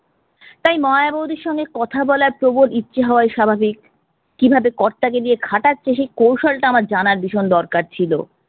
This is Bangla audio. তাই নয়া বৌদির সঙ্গে কথা বলার প্রবল ইচ্ছে হওয়ায় স্বাভাবিক। কিভাবে কর্তাকে দিয়ে খাটাচ্ছে সেই কৌশলটা আমার জানার ভীষণ দরকার ছিল।